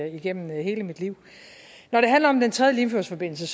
igennem hele mit liv når det handler om den tredje limfjordsforbindelse